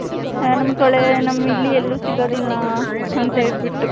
ನಮ್ಮ ಕಡೆ ಇಲ್ಲಿ ಎಲ್ಲೂ ಸಿಗೋದಿಲ್ಲ ಅಂತ ಹೇಳ್ಬಿಟ್ಟು .